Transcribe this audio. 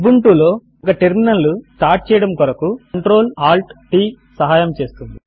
Ubuntu లో ఒక terminal లు స్టార్ట్ చేయడము కొరకు Ctrl Alt t సహయము చేస్తుంది